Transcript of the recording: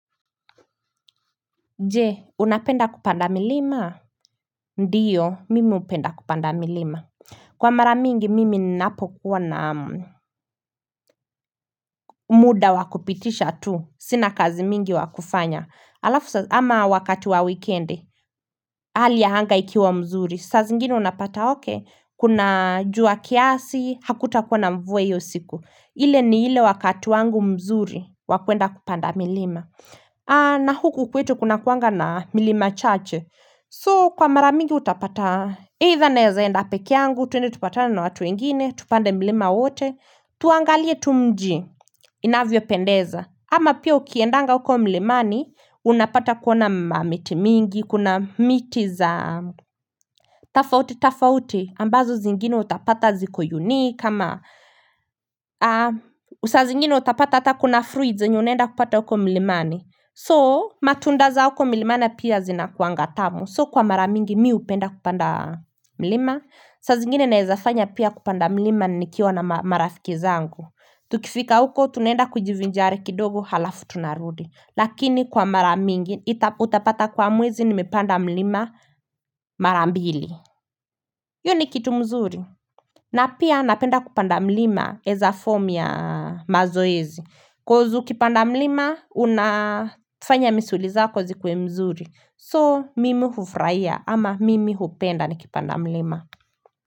Nje unapenda kupanda milima ndiyo mimi upenda kupanda milima kwa maramingi mimi napo kuwa na umuda wakupitisha tu sina kazi mingi wakufanya alafu sasa ama wakati wa wikendi hali ahanga ikiwa mzuri sasa zingini unapata okey kuna jua kiasi hakutakuwa na mvue yosiku ile ni ile wakati wangu mzuri wakuenda kupanda milima na huku kwetu kuna kuanga na milima chache So kwa maramingi utapata Either na zaenda pekiangu tuende tupatana na watu ingine Tupande milima wote Tuangalie tu mji inavyo pendeza ama pia ukiendanga uko milimani Unapata kuona miti mingi Kuna miti za tafauti, tafauti ambazo zingine utapata ziko unique kama usazingine utapata Atakuna fruits nyo unenda kupata uko milimani So matunda za huko milimana pia zina kuanga tamu So kwa maramingi miu upenda kupanda milima Sazingine naezafanya pia kupanda milima nikiwa na marafikizangu Tukifika huko tunenda kujivinjari kidogo halafu tunarudi Lakini kwa maramingi utapata kwa muwezi nimepanda milima marambili Yuni kitu mzuri na pia napenda kupanda milima es a form ya mazoezi cause ukipanda mlima, unafanya misuli za kozi kwe mzuri. So, mimi hufraia ama mimi hupenda ni kipanda mlima.